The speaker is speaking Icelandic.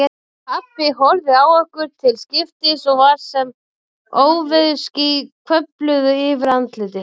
Pabbi horfði á okkur til skiptis og var sem óveðursský hvörfluðu yfir andlitið.